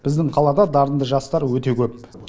біздің қалада дарынды жастар өте көп